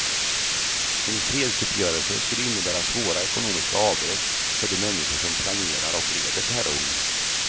En fredsuppgörelse skulle innebära svåra ekonomiska avbräck för de människor som planerar och leder terrorn.